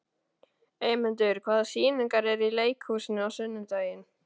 Eymundur, hvaða sýningar eru í leikhúsinu á sunnudaginn?